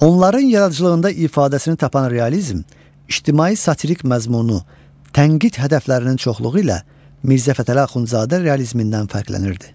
Onların yaradıcılığında ifadəsini tapan realizm ictimai-satirik məzmunu, tənqid hədəflərinin çoxluğu ilə Mirzə Fətəli Axundzadə realizmindən fərqlənirdi.